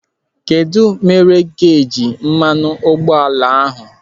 Kedụ mere geji mmanụ ụgbọala ahụ?